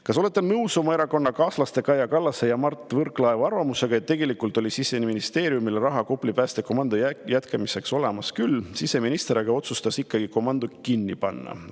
Kas olete nõus oma erakonnakaaslaste Kaja Kallase ja Mart Võrklaeva arvamusega, et tegelikult oli Siseministeeriumil raha Kopli päästekomando jätkamiseks olemas küll, siseminister aga otsustas ikkagi komando kinni panna?